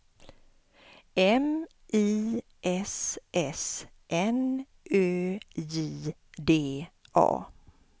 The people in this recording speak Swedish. M I S S N Ö J D A